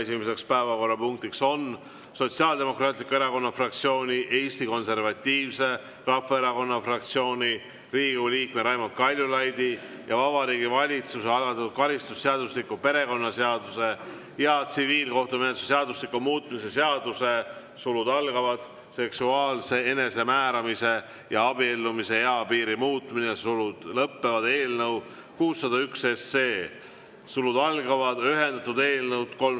Esimene päevakorrapunkt on Sotsiaaldemokraatliku Erakonna fraktsiooni, Eesti Konservatiivse Rahvaerakonna fraktsiooni, Riigikogu liikme Raimond Kaljulaidi ja Vabariigi Valitsuse algatatud karistusseadustiku, perekonnaseaduse ja tsiviilkohtumenetluse seadustiku muutmise seaduse eelnõu 601 kolmas lugemine.